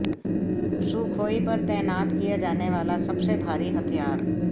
Sukhoi पर तैनात किया जाने वाला सबसे भारी हथियार